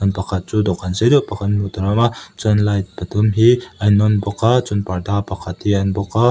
pakhat chu dawhkan sei deuh pakhat hi hmuh tur a awm a chuan light pathum hi a in on bawk a chuan parda pakhat hi a ni bawk a.